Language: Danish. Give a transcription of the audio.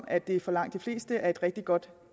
at det for langt de fleste er et rigtig godt